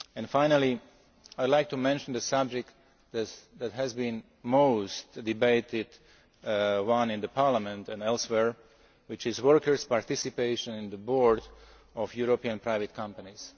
Finally, I should like to mention the subject that has been the most debated in Parliament and elsewhere, which is workers' participation on the board of European private companies.